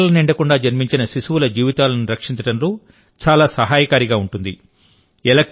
ఇది నెలలు నిండకుండా జన్మించిన శిశువుల జీవితాలను రక్షించడంలో చాలా సహాయకారిగా ఉంటుంది